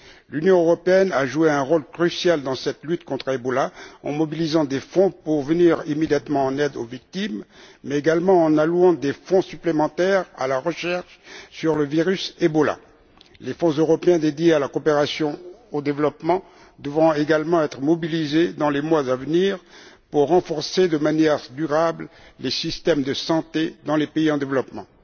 L'Union européenne a joué un rôle crucial dans cette lutte contre le virus Ebola en mobilisant des fonds pour venir immédiatement en aide aux victimes, mais également en allouant des fonds supplémentaires à la recherche sur le virus Ebola. Les fonds européens consacrés à la coopération et au développement devront également être mobilisés dans les mois à venir pour renforcer de manière durable les systèmes de santé dans les pays en développement.